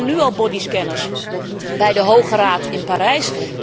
Er staan nu al bodyscanners bij de Hoge Raad in Parijs.